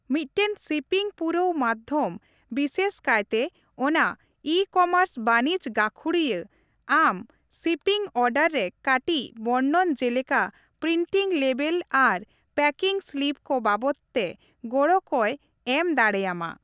ᱢᱤᱫᱴᱟᱝ ᱥᱤᱯᱤᱝ ᱯᱩᱨᱟᱹᱣ ᱢᱟᱫᱫᱷᱚᱢ, ᱵᱤᱥᱮᱥ ᱠᱟᱭᱛᱮ ᱚᱱᱟ ᱤᱼᱠᱚᱢᱟᱨᱥ ᱵᱟᱹᱱᱤᱡᱽ ᱜᱟᱠᱷᱩᱲᱤᱭᱟᱹ, ᱟᱢ ᱥᱤᱯᱤᱝ ᱚᱨᱰᱟᱨ ᱨᱮ ᱠᱟᱹᱴᱤᱡ ᱵᱚᱨᱱᱚᱱ ᱡᱮᱞᱮᱠᱟ ᱯᱨᱤᱱᱴᱤᱝ ᱞᱮᱵᱮᱞ ᱟᱨ ᱯᱮᱠᱤᱝ ᱥᱞᱤᱯ ᱠᱚ ᱵᱟᱵᱚᱛ ᱛᱮ ᱜᱚᱲᱚ ᱠᱚᱭ ᱮᱢ ᱫᱟᱲᱮᱭᱟᱢᱟ ᱾